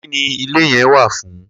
Kini ile yẹn wa fun?